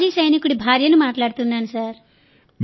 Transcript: మాజీ సైనికుడి భార్యను మాట్లాడుతున్నాను సార్